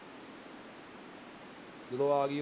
ਜਦੋਂ ਆ ਗਈ